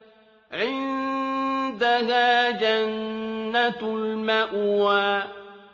عِندَهَا جَنَّةُ الْمَأْوَىٰ